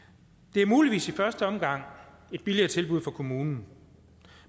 det er muligvis i første omgang et billigere tilbud for kommunen